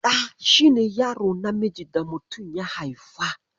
Ɗa shi ne yaro namiji da mutum ya haifa.